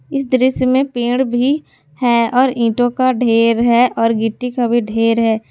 इस दृश्य में पेड़ भी है और ईंटों का ढेर है और गिट्टी कभी ढेर है।